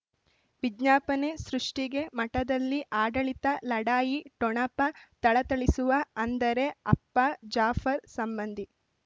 ವಿಜ್ಞಾಪನೆ ಸೃಷ್ಟಿಗೆ ಮಠದಲ್ಲಿ ಆಡಳಿತ ಲಢಾಯಿ ಠೊಣಪ ಥಳಥಳಿಸುವ ಅಂದರೆ ಅಪ್ಪ ಜಾಫರ್ ಸಂಬಂಧಿ